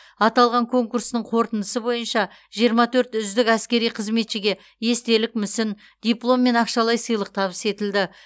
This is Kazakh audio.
аталған конкурсының қорытындысы бойынша жиырма төрт үздік әскери қызметшіге естелік мүсін диплом мен ақшалай сыйлық табыс етілді